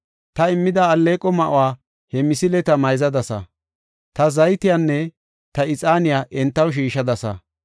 Ta immida alleeqo ma7uwa he misileta mayzadasa; ta zaytiyanne ta ixaaniya entaw shiishadasa.